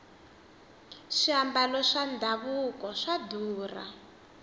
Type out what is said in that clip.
swiambalo swa davuko swa durha